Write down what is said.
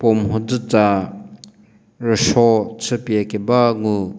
puo mhodzü tsa rüso chü pie keba ngu.